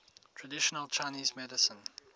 traditional chinese medicine